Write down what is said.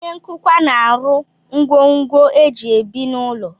Onye nkụkwa na-arụ ngwongwo e ji ebi n'ụlọ